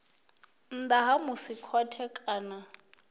nnḓa ha musi khothe kana